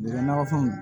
nakɔfɛnw